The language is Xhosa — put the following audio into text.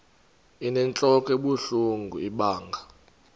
inentlok ebuhlungu ibanga